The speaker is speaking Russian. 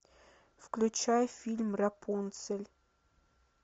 включай фильм рапунцель